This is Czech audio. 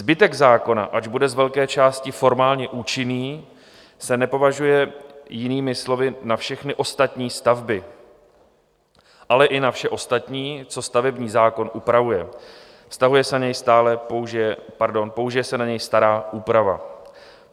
Zbytek zákona, ač bude z velké části formálně účinný, se nepoužije, jinými slovy, na všechny ostatní stavby, ale i na vše ostatní, co stavební zákon upravuje, použije se na něj stará úprava.